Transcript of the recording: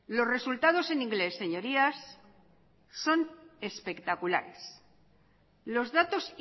los resultados en inglés señorías son espectaculares los datos